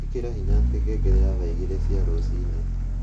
ĩkĩra hinya ati ngengere ya thaa igiri cia ruciini